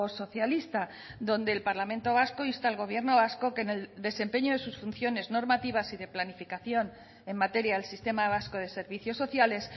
socialista donde el parlamento vasco insta al gobierno vasco que en el desempeño de sus funciones normativas y de planificación en materia del sistema vasco de servicios sociales